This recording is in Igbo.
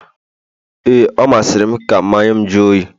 ee, ọ masịrị m ka mmanya'm jụọ oyi